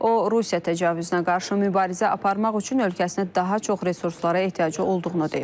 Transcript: O, Rusiya təcavüzünə qarşı mübarizə aparmaq üçün ölkəsinə daha çox resurslara ehtiyacı olduğunu deyib.